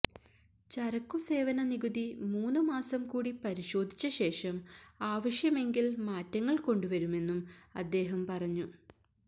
ചരക്കു സേവന നികുതി മൂന്ന് മാസം കൂടി പരിശോധിച്ച ശേഷം ആവശ്യമെങ്കിൽ മാറ്റങ്ങൾ കൊണ്ടുവരുമെന്നും അദ്ദേഹം പറഞ്ഞു